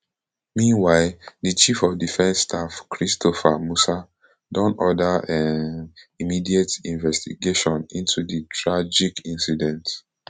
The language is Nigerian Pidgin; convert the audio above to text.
meanwhile di chief of defence staff christopher musa don order um immediate investigation into di tragic incident